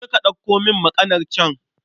Je ka ɗauko min makanar can